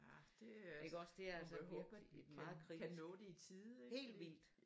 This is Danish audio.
Ja det øh må vi håbe at vi kan nå det i tide ik